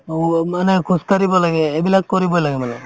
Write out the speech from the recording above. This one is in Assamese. উৱ মানে খোজকাঢ়িব লাগে এইবিলাক কৰিবই লাগে মানে